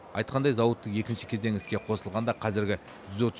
айтқандай зауыттың екінші кезеңі іске қосылғанда қазіргі жүз отыз